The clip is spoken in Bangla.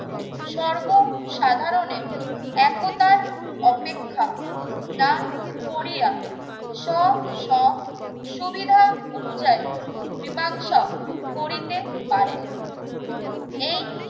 সর্ব সাধারণের একতার অপেক্ষা না করিয়া স~ সুবিধা অনুযায়ী মীমাংসা করিতে পারেন। এই